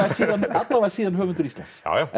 alla vega síðan höfundur Íslands